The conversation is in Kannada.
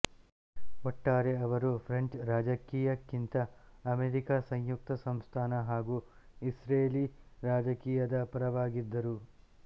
ಒಟ್ಟಾರೆ ಅವರು ಫ್ರೆಂಚ್ ರಾಜಕೀಯಕ್ಕಿಂತ ಅಮೆರಿಕಾ ಸಂಯುಕ್ತ ಸಂಸ್ಥಾನ ಹಾಗೂ ಇಸ್ರೇಲಿ ರಾಜಕೀಯದ ಪರವಾಗಿದ್ದರು